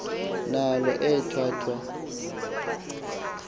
naalo ethwa thwa